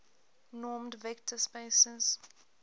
normed vector spaces